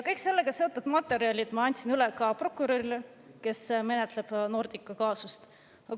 Kõik sellega seotud materjalid ma andsin üle ka prokurörile, kes menetleb Nordica kaasust.